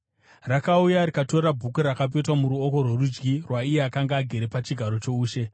Rakauya rikatora bhuku rakapetwa muruoko rworudyi rwaiye akanga agere pachigaro choushe.